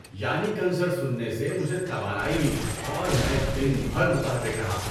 یانی concert سننے سے مجھے توانائی ملی اور میں دن بھر متحرک رہا۔